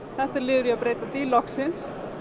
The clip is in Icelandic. þetta er líður í að breyta því loksins